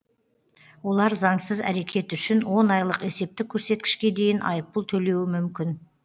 олар заңсыз әрекет үшін он айлық есептік көрсеткішке дейін айыппұл төлеуі мүмкін